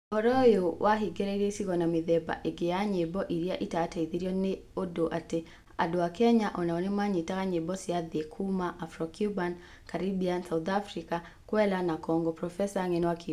ũhoro ũyũ wahĩngĩrĩrie icigo na mĩthemba ĩngĩ ya nyĩmbo iria itateithirwo nĩ ũndũ atĩ andũ a Kenya o nao nĩ manyitaga nyĩmbo cia thĩ kuuma Afro Cuban, Caribbean, South African, Kwela na Congo, profesa ng'eno akiuga.